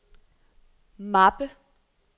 mappe